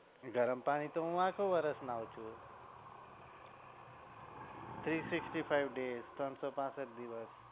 ગરમ પાણી તો હું આખુ વર્ષ નાહુ છુ three sixty five days ત્રણસો પાસઠ દિવસ.